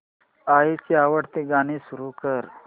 आईची आवडती गाणी सुरू कर